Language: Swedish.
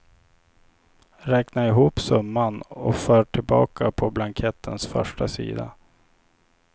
Räkna ihop summan och för tillbaka på blankettens första sida.